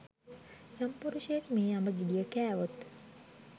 යම් පුරුෂයෙක් මේ අඹ ගෙඩිය කෑවොත්